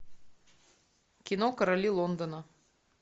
кино короли лондона